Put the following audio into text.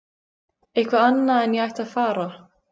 Eitthvað annað en að ég ætti að fara.